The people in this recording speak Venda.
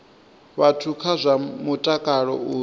vhathu kha zwa mutakalo uri